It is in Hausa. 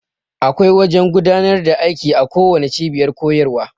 Da akwai wajan godanar da aiki a kowanne cibiyar kuyarwa